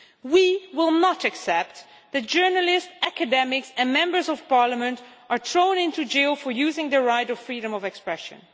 We will not accept that journalists, academics and members of parliament are thrown into jail for using their right of freedom of expression.